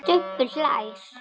Stubbur hlær.